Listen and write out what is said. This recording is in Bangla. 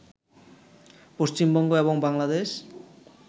পশ্চিমবঙ্গ এবং বাংলাদেশ